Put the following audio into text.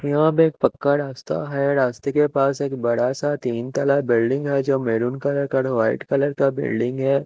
यहाँ पर एक पक्का रास्ता है रास्ते के पास एक बड़ा सा तीन ताला बिल्डिंग है जो मेहरून कलर पर वाइट कलर का बिल्डिंग है।